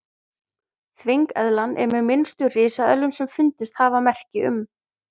þvengeðlan er með minnstu risaeðlum sem fundist hafa merki um